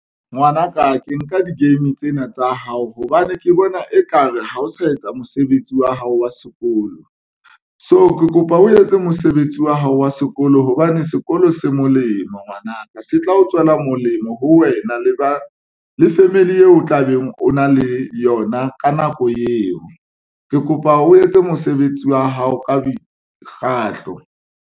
Ngwanaka ke nka di-game tsena tsa hao, hobane ke bona ekare ha o sa etsa mosebetsi wa hao wa sekolo, so ke kopa o etse mosebetsi wa hao wa sekolo hobane sekolo se molemo, ngwanaka se tla o tswela molemo ho wena. Le ba le family eo o tlabeng, o na le yona ka nako eo ke kopa o etse mosebetsi wa hao ka mekgahlo.